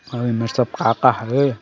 अऊ एमेर सब का-का हवे।